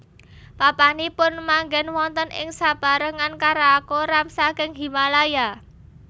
Papanipun manggèn wonten ing sapérangan karakoram saking Himalaya